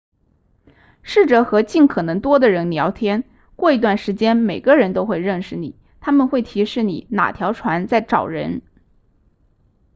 试着和尽可能多的人聊天过一段时间每个人都会认识你他们会提示你哪条船在找人